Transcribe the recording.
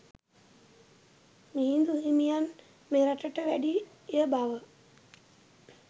මිහිඳු හිමියන් මෙරටට වැඩිය බව